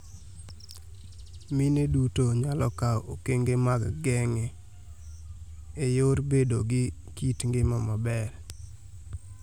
Mine duto nyalo kao okenge mag geng'e eyor bedo gi kit ngima maber.